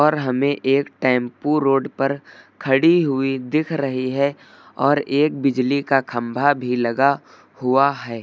हमें एक tempo road पर खड़ी हुई दिख रही है और एक बिजली का खंभा भी लगा हुआ है।